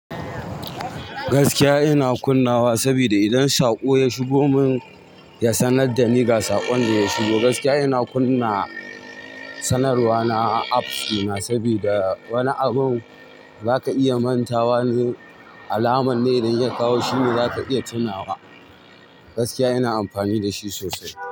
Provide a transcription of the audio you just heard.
Gaskiya ina kunnawa sabida idan saƙo ya shigo mun, ya sanar da ni ga saƙon da ya shigo. Gaskiya ina kunna sanarwa na apps ɗina sabida wani abun zaka iya mantawa zu alaman ne idan ya kawo shine zaka iya tunawa. Gaskiya ina amfani da shi sosai.